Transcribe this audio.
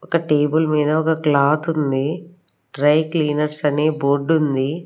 ఒక్క టేబుల్ మీద ఒక్క క్లోత్ ఉంది డ్రై క్లీనర్స్ అనే బోర్డు ఉంది.